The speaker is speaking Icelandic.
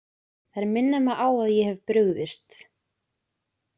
Þær minna mig á að ég hef brugðist.